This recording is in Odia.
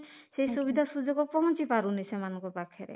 ସେଇ ସୁବିଧା ସୁଯୋଗ ପହଞ୍ଚି ପାରୁନି ସେମାନଙ୍କ ପାଖରେ